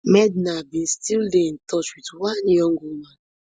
medha bin still dey in touch wit one young woman